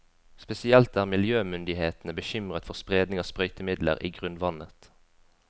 Spesielt er miljømyndighetene bekymret for spredning av sprøytemidler i grunnvannet.